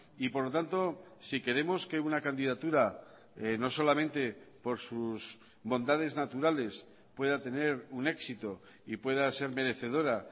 y por lo tanto si queremos que una candidatura no solamente por sus bondades naturales pueda tener un éxito y pueda ser merecedora